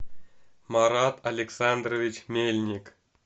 марат александрович мельник